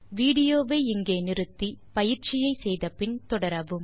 விடியோவை இங்கே இடைநிறுத்தி கொடுத்த பயிற்சியை செய்தபின் தொடரவும்